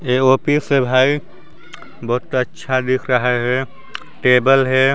ये ऑफिस है भाई बहुत अच्छा दिख रहा हैं टेबल हैं।